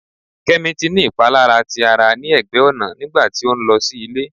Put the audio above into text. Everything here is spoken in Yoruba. Kemi ti ni ipalara ti ara ni ẹgbẹ ọna nigba ti o nlọ si ile